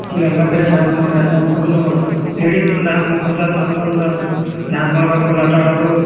Full ಎಲ್ಲಾ ಕಡೆ dance ಮಾಡ್~ ಎಲ್ಲಾ ಅಂದ್ರ ladies ಕೂಡ dance ಮಾಡ್ಕೊಂಡಿರತಾರ ನಮ್ಗ ಒಂದ್ dance ಮಾಡಕ ಕೋಲಾಟ ಆಡೋದು.